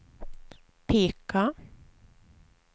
peka